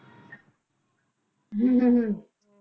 ਹਮ ਹਮ ਹਮ